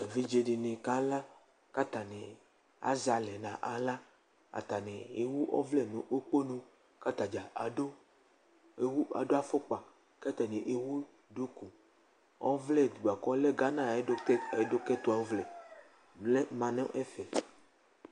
Evidze dɩnɩ kala kʋ atanɩ azɛ alɛ nʋ aɣla Atanɩ ewu ɔvlɛ nʋ ukponu kʋ ata dza adʋ ewu adʋ afʋkpa kʋ atanɩ ewu duku ɔvlɛ bʋa kʋ ɔlɛ gana ayʋ ɛdʋ ɛdʋkɛtʋvlɛ lɛ ma nʋ ɛfɛ